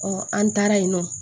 an taara yen nɔ